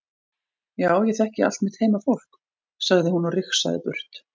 Já ég þekki allt mitt heimafólk, sagði hún og rigsaði burt.